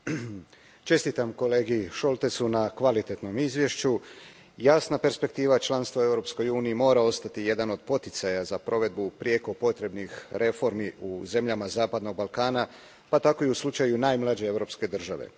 Poštovani predsjedavajući, čestitam kolegi Šoltesu na kvalitetnom izvješću. Jasna perspektiva članstva u Europskoj uniji mora ostati jedan od poticaja za provedbu prijeko potrebnih reformi u zemljama Zapadnog Balkana, pa tako i u slučaju najmlađe europske države.